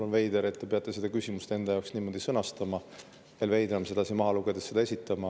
On veider, et te peate seda küsimust enda jaoks niimoodi sõnastama, veel veidram, seda sedasi maha lugedes esitama.